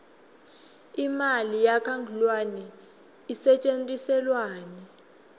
imali yakangluane isetjentiselwani